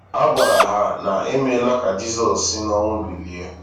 A gwara ha na e meela ka Jizọs si n’ọnwụ bilie!